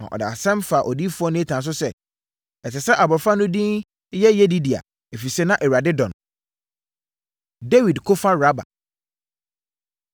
na ɔde asɛm faa odiyifoɔ Natan so sɛ, ɛsɛ sɛ abɔfra no din yɛ Yedidia, ɛfiri sɛ na Awurade dɔ no. Dawid Ko Fa Raba